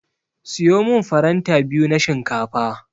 Siyo min faranta biyu na shinkafa.